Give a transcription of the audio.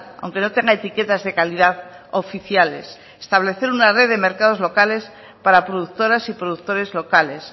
aunque no tenga etiquetas de calidad oficiales establecer una red de mercados locales para productoras y productores locales